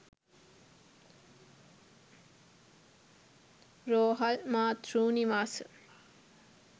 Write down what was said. රෝහල්, මාතෘ නිවාස,